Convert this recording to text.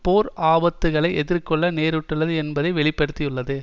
போர் ஆபத்துக்களை எதிர்கொள்ள நேரிட்டுள்ளது என்பதை வெளி படுத்தியுள்ளது